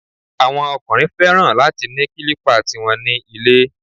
Àwọn ọkùnrin fẹ́ràn láti ni kílípà ti wọn ní ilé